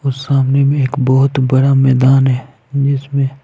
और सामने भी एक बहुत बड़ा मैदान है जिसमें--